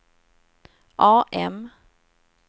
AM